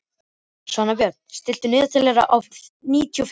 Svanbjörn, stilltu niðurteljara á níutíu og fimm mínútur.